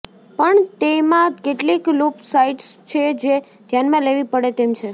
પણ તેમાં કેટલીક લૂપ સાઇડસ છે જે ધ્યાનમાં લેવી પડે તેમ છે